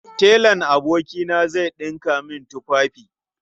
Telan abokina zai ɗinka min tufafi.